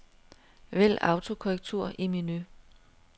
Vælg autokorrektur i menu.